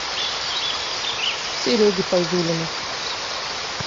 сереги файзулина